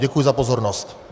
Děkuji za pozornost.